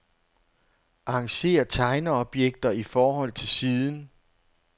Arrangér tegneobjekter i forhold til siden.